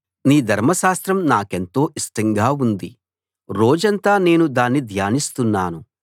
నీ ధర్మశాస్త్రం నాకెంతో ఇష్టంగా ఉంది రోజంతా నేను దాన్ని ధ్యానిస్తున్నాను